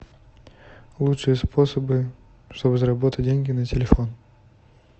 лучшие способы чтобы заработать деньги на телефон